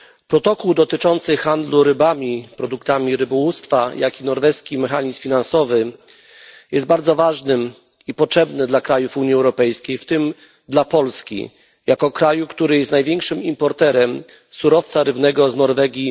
Protokół dotyczący handlu rybami, produktami rybołówstwa, jak i Norweski Mechanizm Finansowy są bardzo ważne i potrzebne dla krajów Unii Europejskiej, w tym dla Polski jako kraju, który jest największym w Unii Europejskiej importerem surowca rybnego z Norwegii.